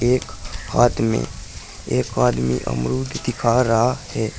एक आदमी एक आदमी एक अमरुद दिख रहा है।